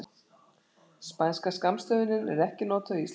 Spænska skammstöfunin er ekki notuð á íslensku.